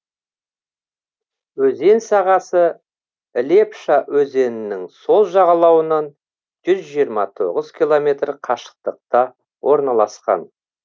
өзен сағасы лепша өзенінің сол жағалауынан жүз жиырма тоғыз километр қашықтықта орналасқан